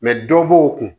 dɔ b'o kun